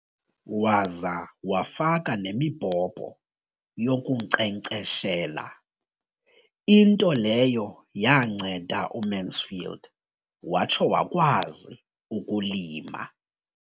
Waza wafaka nemibhobho yokunkcenkceshela, into leyo yanceda uMansfield watsho wakwazi ukulima.